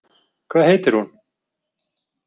Hvað heitir hún?